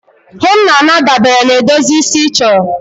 Ihe m na-ana dabere na edozi isi ị chọrọ